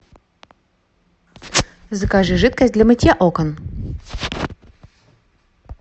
закажи жидкость для мытья окон